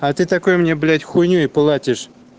а ты такой мне блять хуйню и платишь